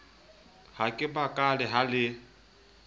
ha ke makale ha le